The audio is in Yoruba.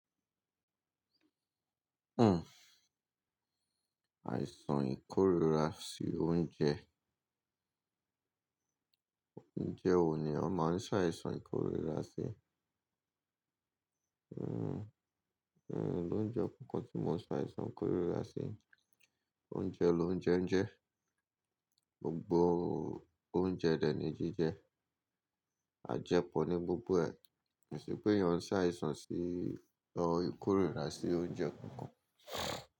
Hmm, àìsàn ìkórìíra sí oúnjẹ. Oúnjẹ wo ni ó máa ń sá àìsàn ìkórìíra sí? Hmm, hmm, lóúnjẹ kankan tí mo ń sá àìsàn ìkórìíra sí. O Oúnjẹ lóúnjẹ ń jẹ, gbogbo oúnjẹ dẹ̀ ní jíjẹ, à jẹ pọ̀ ní gbogbo ẹ. Kìí ṣe pé èèyàn sá àìsàn sí ìkórìíra sí oúnjẹ kankan.